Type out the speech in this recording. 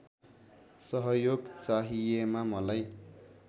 सहयोग चाहिएमा मलाई